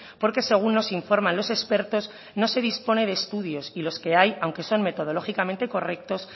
porque según nos informan los expertos no se dispone de estudios y los que hay aunque son metodológicamente correctos